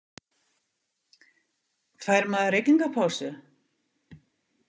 Fær maður reykingapásu?